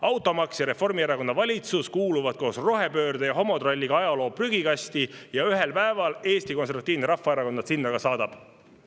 Automaks ja Reformierakonna valitsus kuuluvad koos rohepöörde ja homotralliga ajaloo prügikasti ja ühel päeval Eesti Konservatiivne Rahvaerakond nad sinna ka saadab.